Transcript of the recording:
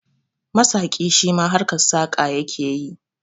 Masaƙi shima harkan saƙa yake yi